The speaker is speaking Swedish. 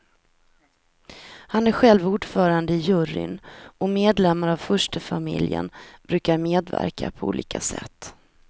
Han är själv ordförande i juryn, och medlemmar av furstefamiljen brukar medverka på olika sätt.